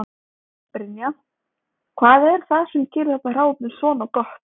Brynja: Hvað er það sem gerir þetta hráefni svona gott?